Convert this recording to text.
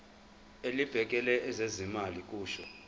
elibhekele ezezimali kusho